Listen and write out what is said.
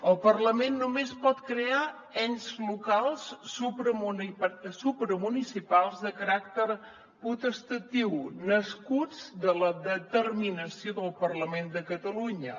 el parlament només pot crear ens locals supramunicipals de caràcter potestatiu nascuts de la determinació del parlament de catalunya